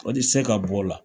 O ti se ka b'o la.